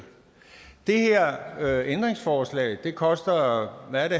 det her ændringsforslag koster er det